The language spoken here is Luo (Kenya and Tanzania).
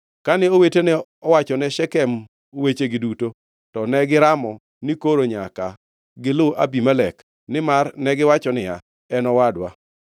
Kane owetene owachone jo-Shekem wechegi duto, to negiramo ni koro nyaka gilu Abimelek, nimar negiwacho niya, “En owadwa.”